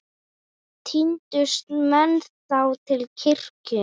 Tíndust menn þá til kirkju.